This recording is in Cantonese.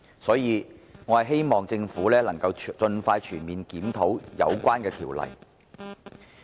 所以，我希望政府可以盡快全面檢討有關條例。